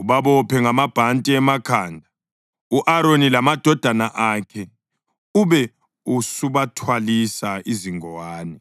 ubabophe ngamabhanti emakhanda, u-Aroni lamadodana akhe, ube usubathwalisa izingowane.